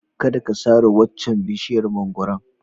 Kada ka sare waccan bishiyar mangwaron.